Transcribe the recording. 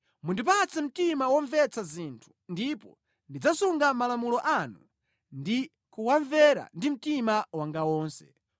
Mundipatse mtima womvetsa zinthu ndipo ndidzasunga malamulo anu ndi kuwamvera ndi mtima wanga wonse.